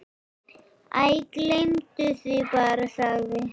Æ, gleymdu því bara- sagði